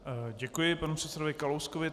Děkuji panu předsedovi Kalouskovi.